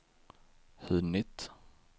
hunnit